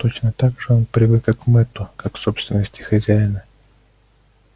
точно так же он привык и к мэтту как к собственности хозяина